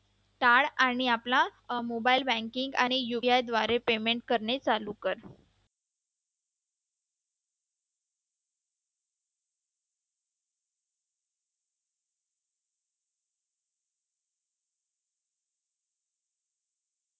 टाळ आणि mobile banking आणि UPI द्वारे payment करणे चालू कर.